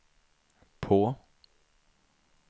på